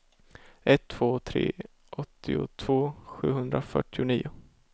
ett två tre tre åttiotvå sjuhundrafyrtionio